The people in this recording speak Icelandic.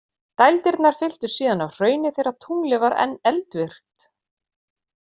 Dældirnar fylltust síðan af hrauni þegar tunglið var enn eldvirkt.